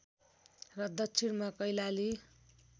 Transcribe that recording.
र दक्षिणमा कैलाली